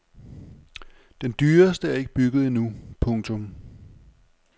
Den dyreste er ikke bygget endnu. punktum